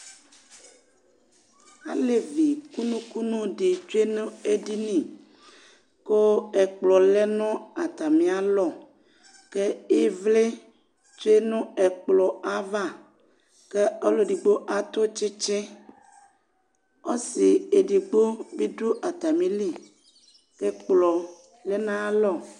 alɛvi kʋnʋ kʋnʋ di twɛnʋ ɛdini kʋ ɛkplɔ lɛnʋ atami alɔ kʋ ivli twɛnʋ ɛkplɔ aɣa kʋ ɔlʋ ɛdigbɔ atʋ tsitsi, ɔsii ɛdigbɔ bidʋ atamili kʋ ɛkplɔ lɛnʋ ayailɔ